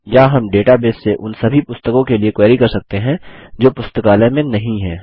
या हम डेटाबेस से उन सभी पुस्तकों के लिए क्वेरी कर सकते हैं जो पुस्तकालय में नहीं है